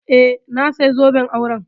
Eh, na saya zoben auren